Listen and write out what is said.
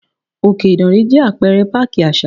Òkè Ìdànrè jẹ́ Apẹ̀rẹ̀ páàkì àṣà.